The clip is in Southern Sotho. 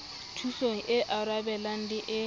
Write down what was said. thusong e arabelang le e